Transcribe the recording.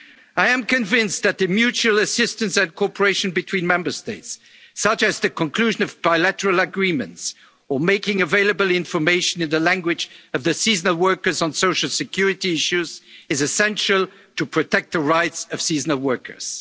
of workers. I am convinced that the mutual assistance and cooperation between Member States, such as the conclusion of bilateral agreements or making available information in the language of the seasonal workers on social security issues is essential to protect the rights of